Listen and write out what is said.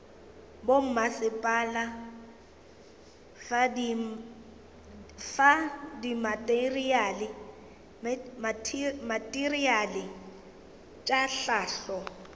bommasepala fa dimateriale tša hlahlo